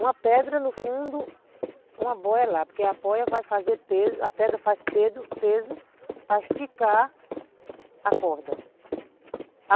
Uma pedra no fundo, uma boia lá, porque a boia vai fazer peso, a pedra faz pedo peso para esticar a corda.